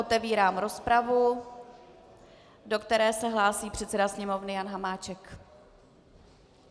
Otevírám rozpravu, do které se hlásí předseda Sněmovny Jan Hamáček.